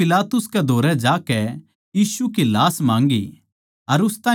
उसनै पिलातुस के धोरै जाकै यीशु की लाश माँग्गी